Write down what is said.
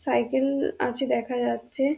সাইকে-এ-ল আছে দেখা যাচ্ছে-এ--